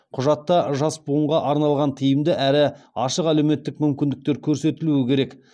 құжатта жас буынға арналған тиімді әрі ашық әлеуметтік мүмкіндіктер көрсетілуі керек